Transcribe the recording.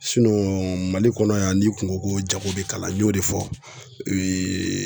Mali kɔnɔ yan n'i kun ŋo ko jago be kalan n y'o de fɔ